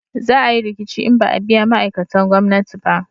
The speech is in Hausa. Za a yi riƙici in ba a biya ma'aikatan gwamnati ba